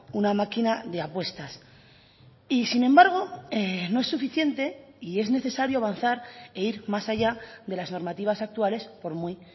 una máquina de apuestas y sin embargo no es suficiente y es necesario avanzar e ir más allá de las normativas actuales por muy